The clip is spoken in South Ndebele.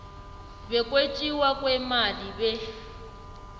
bokwetjiwa kweemali be